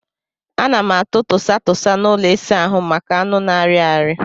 A na m atụ tụsa tụsa n'ụlọ ịsa ahụ m maka anụ na-arị arị.